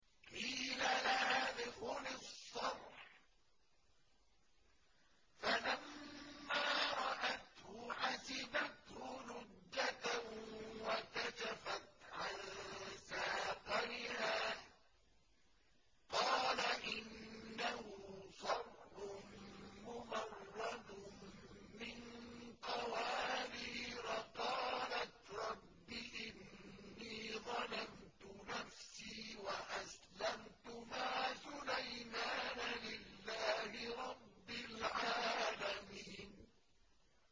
قِيلَ لَهَا ادْخُلِي الصَّرْحَ ۖ فَلَمَّا رَأَتْهُ حَسِبَتْهُ لُجَّةً وَكَشَفَتْ عَن سَاقَيْهَا ۚ قَالَ إِنَّهُ صَرْحٌ مُّمَرَّدٌ مِّن قَوَارِيرَ ۗ قَالَتْ رَبِّ إِنِّي ظَلَمْتُ نَفْسِي وَأَسْلَمْتُ مَعَ سُلَيْمَانَ لِلَّهِ رَبِّ الْعَالَمِينَ